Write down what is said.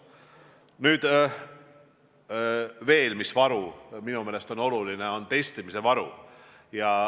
Nüüd veel: väga oluline on testimine.